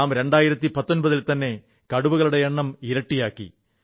നാം 2019 ൽത്തന്നെ കടുവകളുടെ എണ്ണം ഇരട്ടിയാക്കി